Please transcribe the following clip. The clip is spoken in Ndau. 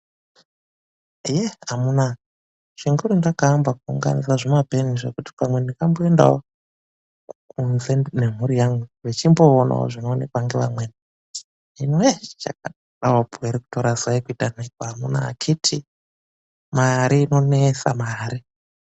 Yee amunaa chinguri ndakaamba kuunganidza zvimapeni zvekuti pamwe ndingamboendawo kunze nemhuri yangu vechimboonawo zvinoonekwa ngevamweni, hino yee chakadawopo ere kutora zai kuite nhekwe amunaa ekhiti mare inonesa mare.